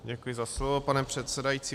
Děkuji za slovo, pane předsedající.